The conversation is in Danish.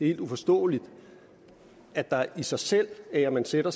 helt uforståeligt at der i sig selv ved at man sætter